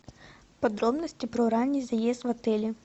подробности про ранний заезд в отеле